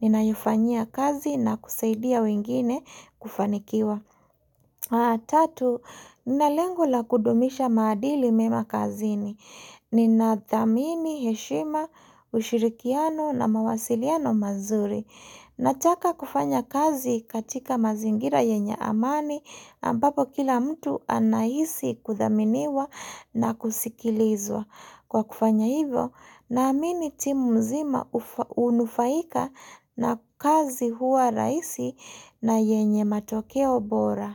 ninaifanyia kazi na kusaidia wengine kufanikiwa. Tatu, ninalengo la kudumisha maadili mema kazini. Ninathamini, heshima, ushirikiano na mawasiliano mazuri. Nataka kufanya kazi katika mazingira yenye amani ambapo kila mtu anahisi kuthaminiwa na kusikilizwa. Kwa kufanya hivyo naamini timu mzima hunufaika na kazi huwa rahisi na yenye matokea bora.